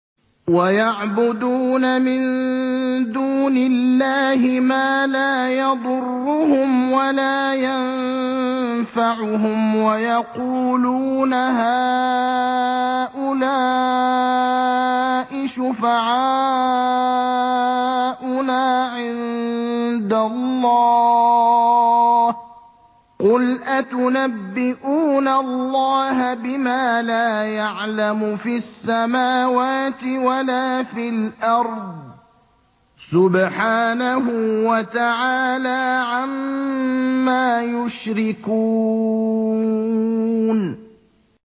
وَيَعْبُدُونَ مِن دُونِ اللَّهِ مَا لَا يَضُرُّهُمْ وَلَا يَنفَعُهُمْ وَيَقُولُونَ هَٰؤُلَاءِ شُفَعَاؤُنَا عِندَ اللَّهِ ۚ قُلْ أَتُنَبِّئُونَ اللَّهَ بِمَا لَا يَعْلَمُ فِي السَّمَاوَاتِ وَلَا فِي الْأَرْضِ ۚ سُبْحَانَهُ وَتَعَالَىٰ عَمَّا يُشْرِكُونَ